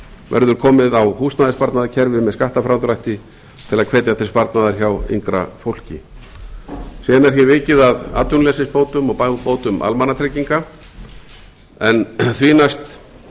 verður komið á húsnæðissparnaðarkerfi með skattafrádrætti til að hvetja til sparnaðar hjá yngra fólki síðan er vikið að atvinnuleysisbótum og bótum almannatrygginga en því næst